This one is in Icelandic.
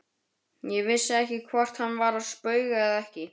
Ég vissi ekki hvort hann var að spauga eða ekki.